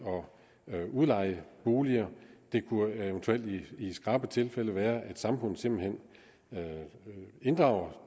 at udleje boliger det kunne eventuelt i skrappe tilfælde være sådan at samfundet simpelt hen inddrager